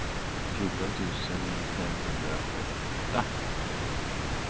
fjorton tusen femhundraåtta